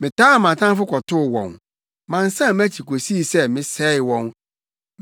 Metaa mʼatamfo kɔtoo wɔn; mansan mʼakyi kosii sɛ mesɛee wɔn.